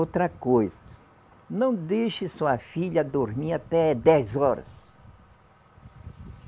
Outra coisa, não deixe sua filha dormir até dez horas.